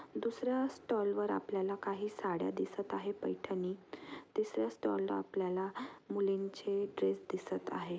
दुसऱ्या स्टॉल वर आपल्या काही साड्या दिसत आहे पैठणी तिसर्‍या स्टॉल ला आपल्याला मुलींचे ड्रेस दिसत आहे.